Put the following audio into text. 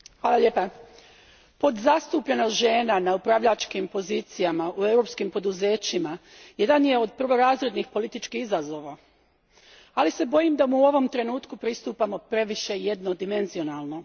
Gospodine predsjedniče, podzastupljenost žena na upravljačkim pozicijama u europskim poduzećima jedan je od prvorazrednih političkih izazova, ali se bojim da mu u ovom trenutku pristupamo previše jednodimenzionalno.